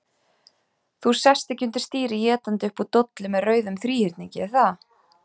Þú sest ekki undir stýri étandi upp úr dollu með rauðum þríhyrningi, er það?